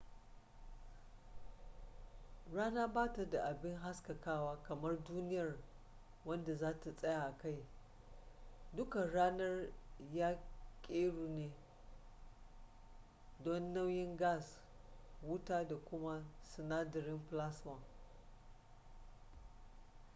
rana ba ta da abi haskakawa kamar duniyar wanda za ka tsaye a kai duka ranar ya keru ne dan nauyin gas wuta da kuma sinadarin plasma